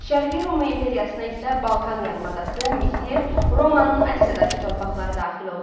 Şərqi Roma imperiyasına isə Balkan yarımadası, Misir, Romanın Asiyadakı torpaqları daxil oldu.